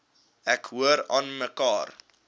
ek hoor aanmekaar